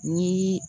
Ni